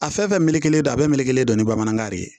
A fɛn fɛn melekelen don a bɛɛ melekelen don ni bamanankan de ye